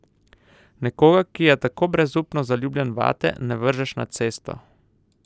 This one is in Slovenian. Nekoga, ki je tako brezupno zaljubljen vate, ne vržeš na cesto.